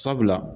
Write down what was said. Sabula